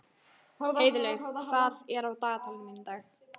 Heiðlaug, hvað er á dagatalinu mínu í dag?